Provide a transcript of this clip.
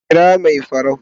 kira Mai farau